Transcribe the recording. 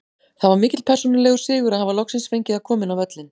Það var mikill persónulegur sigur að hafa loksins fengið að koma inn á völlinn.